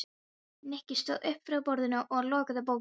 Nikki stóð upp fá borðinu og lokaði bókinni.